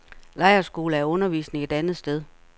Lejrskoler er undervisning et andet sted.